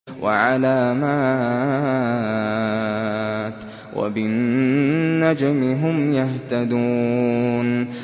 وَعَلَامَاتٍ ۚ وَبِالنَّجْمِ هُمْ يَهْتَدُونَ